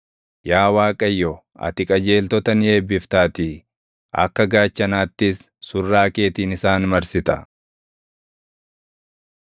Yaa Waaqayyo, ati qajeeltota ni eebbiftaatii; akka gaachanaattis surraa keetiin isaan marsita.